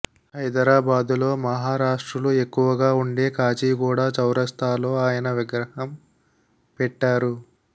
హైదరాబాదులో మహారాష్ట్రులు ఎక్కువగా వుండే కాచిగూడా చౌరస్తాలో ఆయన విగ్రహం పెట్టారు